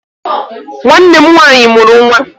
Nwanne m nwaanyị mụrụ nwa.